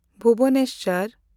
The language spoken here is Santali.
ᱵᱷᱩᱵᱚᱱᱮᱥᱥᱚᱨ